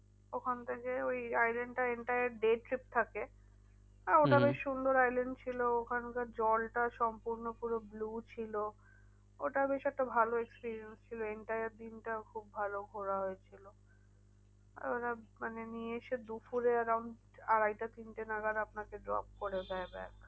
আর ওরা মানে নিয়ে এসে দুপুরে আড়াইটা তিনটে নাগাদ আপনাকে drop করে দেয় back